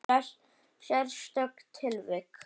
Sérstök tilvik.